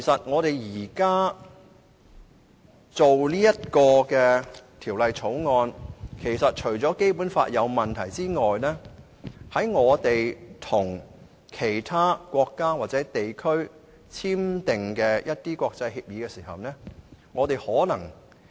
我們現在審議《條例草案》，除了發現《基本法》有問題外，香港可能已經違反了與其他國家或地區簽訂的國際協議。